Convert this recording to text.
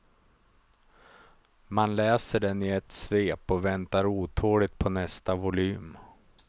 Man läser den i ett svep och väntar otåligt på nästa volym.